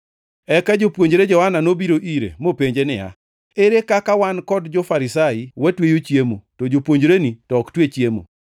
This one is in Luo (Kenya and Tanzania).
Eka jopuonjre Johana nobiro ire mopenje niya, “Ere kaka wan kod jo-Farisai watweyo chiemo to jopuonjreni to ok twe chiemo?”